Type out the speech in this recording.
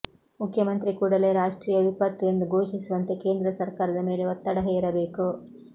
ಮುಖ್ಯಮಂತ್ರಿ ಕೂಡಲೇ ರಾಷ್ಟ್ರೀಯ ವಿಪತ್ತು ಎಂದು ಘೋಷಿಸುವಂತೆ ಕೇಂದ್ರ ಸರ್ಕಾರದ ಮೇಲೆ ಒತ್ತಡ ಹೇರಬೇಕು